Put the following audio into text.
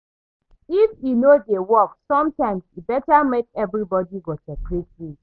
If e no dey work, sometimes e better make everybody go separate ways.